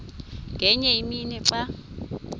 ngenye imini xa